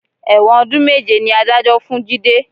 Ẹ̀wọ̀n ọdún méje ni Adájọ́ fún Jide